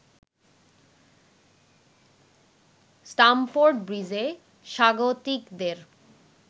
Stamford ব্রিজে স্বাগতিকদের